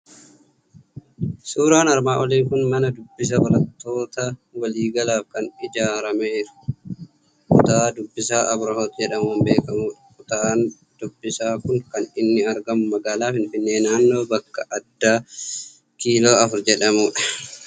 Suuraan armaan olii kun mana Dubbisaa barattoota walii galaaf kan ijaarameeru, kutaa dubbisaa Abirohoot jedhamuun beekamudha. Kutaan dubbisaa kun kan inni argamu magaalaa Finfinnee, naannoo bakka addaa kiiloo Afur jedhamu dha.